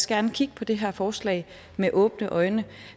gerne kigge på det her forslag med åbne øjne